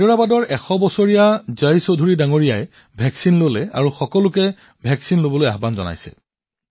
হায়দৰাবাদত ১০০ বছৰীয়া জয় চৌধুৰী জীয়েও টীকাকৰণ কৰিছে আৰু সকলোকে ভেকছিন গ্ৰহণ কৰিবলৈ আবেদন জনাইছে